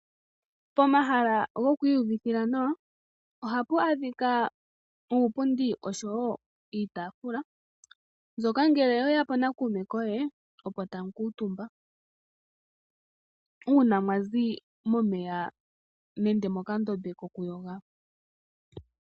Pomahala goku iyuvithila nawa, ohapu adhika uupundi, oshowo iitaafula, mbyoka ngele owe ya po nakuume koye oko tamu kuutumba uuna mwa zi momeya nenge mokandombe kokuyoga.